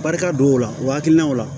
Barika don o la o hakilinaw la